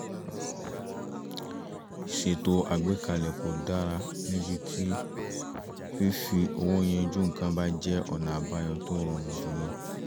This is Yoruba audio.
ìṣètò àgbékalẹ̀ kò dára níbi tí fífi owó yanjú nǹkan bá jẹ́ ọ̀nà àbáyọ tó rọrùn jùlọ